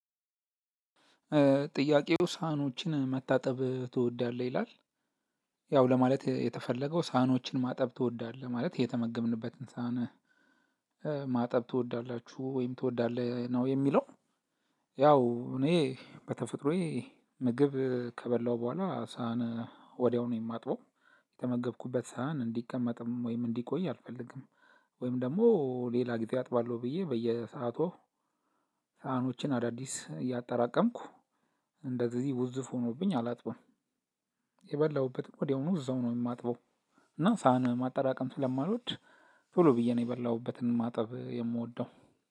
ጥያቄው ሳህኖችን መታጠብ ትወዳለህ? ይላል ያው ለማለት የተፈለገው ሳህኖችን ማጠብ ትወዳለህ ማለት የተመገብንበትን ሳህን ማጠብ ትወዳላችሁ ወይም ትወዳለህ ነው የሚለው ያው እኔ በተፈጥሮዬ ምግብ ከበላሁ በኋላ ሳህን ወዲያው ነው የማጥበው የተመገብኩበት ሳህን እንዲቀመጥም ወይም እንዲቆይ አልፈልግም። ወይም ደግሞ ሌላ ጊዜ አጥባለሁ ብዬ በየሰአቱ ሳህኖችን እንደአዲስ እያጠራቀምኩ እንደዚህ ውዝፍ ሆኖብኝ አላጥበውም የበላሁበትም ወዲያውኑ እዛው ነው የማጥበው እና ሳህን ማጠራቀም ስለማልወድ ቶሎ ብዬ ነው የበላሁበትን ማጠብ የምወደው